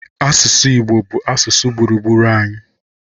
Asụsụ Igbo bụ asụsụ gburugburu anyị.